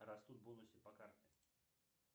растут бонусы по карте